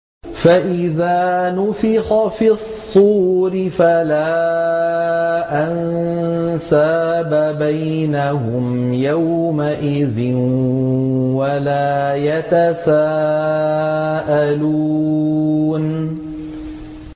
فَإِذَا نُفِخَ فِي الصُّورِ فَلَا أَنسَابَ بَيْنَهُمْ يَوْمَئِذٍ وَلَا يَتَسَاءَلُونَ